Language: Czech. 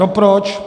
No proč?